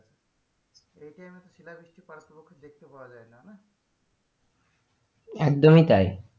এখানে শিলাবৃষ্টি দেখতে পাওয়া যায়না না একদমই,